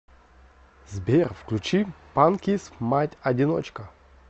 сбер включи панкис мать одиночка